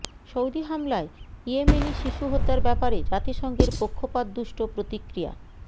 Saudi হামলায় ইয়েমেনি শিশু হত্যার ব্যাপারে জাতিসংঘের পক্ষপাতদুষ্ট প্রতিক্রিয়া